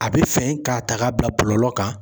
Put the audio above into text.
A be fin ka ta ka bila bɔlɔlɔ kan.